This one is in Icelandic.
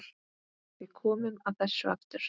Við komum að þessu aftur.